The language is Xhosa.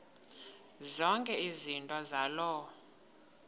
zonke izinto zaloo